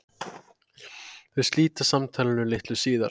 Þau slíta samtalinu litlu síðar.